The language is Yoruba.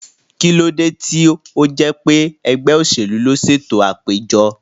Kí ló dé tí ó jẹ́ pé ẹgbẹ́ òṣèlú ló ṣètò àpéjọ?